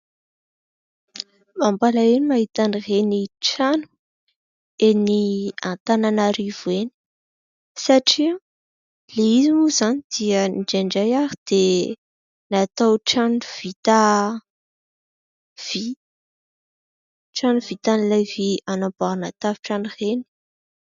Mampalahelo mahita an'ireny trano eny Antananarivo eny satria ilay izy moa zany dia indraindray ary dia natao trano vita vy, trano vita amin'ilay vy anamboarana tafontrano ireny.